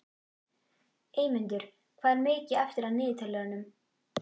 Eymundur, hvað er mikið eftir af niðurteljaranum?